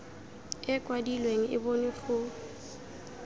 e kwadilweng e bonwe go